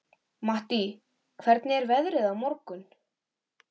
Mattý, hvernig er veðrið á morgun?